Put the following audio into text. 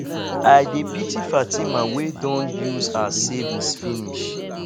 i dey pity fatima wey don use her savings finish